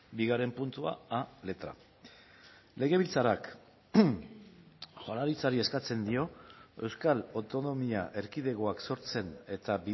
bigarren puntua a letra legebiltzarrak jaurlaritzari eskatzen dio euskal autonomia erkidegoak sortzen eta